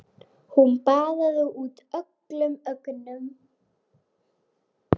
Hún baðaði út öllum öngum.